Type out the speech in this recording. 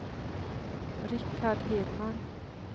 Rikard Hedman